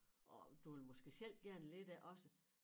Og du vil måske selv gerne lidt af det også